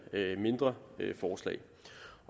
mindre forslag